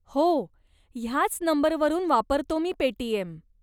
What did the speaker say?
हो, ह्याच नंबरवरून वापरतो मी पेटीएम.